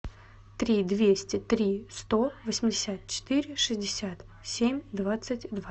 три двести три сто восемьдесят четыре шестьдесят семь двадцать два